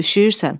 üşüyürsən.